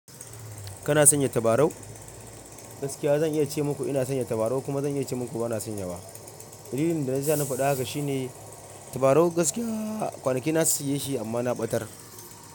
Kana sanya tabarau? Gaskiya zan iya ce muku ina sanya tabarau kuma zan iya ce muku bana sanya wa. Dalilin da yasa na faɗa haka shi ne tabarau gaskiya kwanaki na siye shi amma na ɓatar.